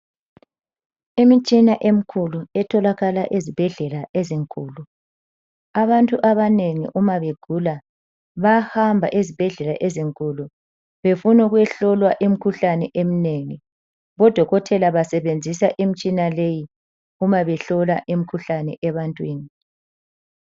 Imitshina emkhulu etholakala ezibhedlela ezinkulu. Abantu abanengi uma begula, bayahamba ezibhedlela ezinkulu, befun' ukuyehlolwa imkhuhlane emnengi. Bodokotela basebenzisa imtshina leyi uma behlola imkhuhlane ebantwini.